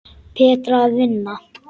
Betra að vinna.